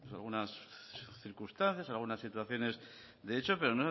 algunas circunstancias algunas situaciones de hecho pero